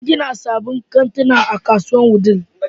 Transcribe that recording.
An gina sabbin kantuna a kasuwar Wudil.